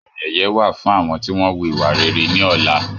Àmì ẹ̀yẹ wá fún àwọn tí wọn wù ìwà rere ní ọ̀la.